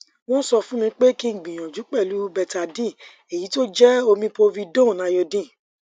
won sofunmi pe ki gbiyanju pelu betadine eyi to je omi povidone iodine